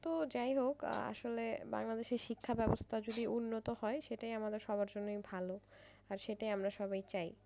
তো যাইহোক আসলে বাংলাদেশে শিক্ষা বেবস্থা যদি উন্নত হয় সেটাই আমাদের সবার জন্যই ভালো আর সেটাই আমরা সবাই চাই।